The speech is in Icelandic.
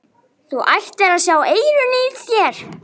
Þú ættir að sjá eyrun á þér!